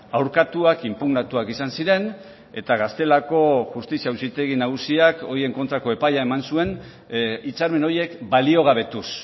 aurkatuak inpugnatuak izan ziren eta gaztelako justizia auzitegi nagusiak horien kontrako epaia eman zuen hitzarmen horiek baliogabetuz